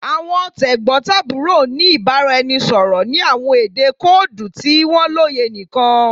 Awọn tegbotaburo n ni ibaraẹnisọrọ ni awọn ede koodu ti wọn loye nikan